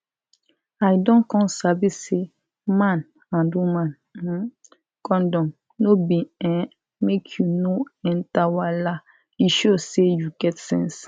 i don come sabi say man and woman um condom no be[um]make you no enter wahala e show say you get sense